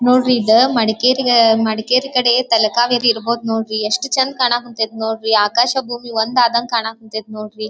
ನೋಡ್ರಿ ಇದ ಮಡಿಕೇರಿ ಮಡಿಕೇರಿ ಕಡೆ ತಲಕಾವೇರಿ ಇರ್ಬಹುದು ನೋಡ್ರಿ ಎಷ್ಟು ಚಂದ ಕಾಣ ಕತತ ನೋಡ್ರಿ ಆಕಾಶ ಭೂಮಿ ಒಂದು ಆಗಾಂಗೆ ಕಾನಕತತ ನೋಡ್ರಿ.